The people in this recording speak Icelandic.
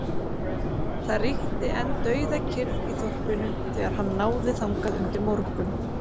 Það ríkti enn dauðakyrrð í þorpinu þegar hann náði þangað undir morgun.